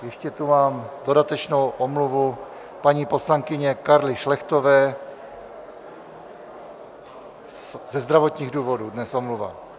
Ještě tu mám dodatečnou omluvu paní poslankyně Karly Šlechtové ze zdravotních důvodů dnes, omluva.